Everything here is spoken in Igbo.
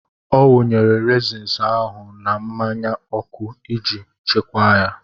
Ọ wụnyere reezin ahụ na mmanya ọkụ iji chekwaa ya.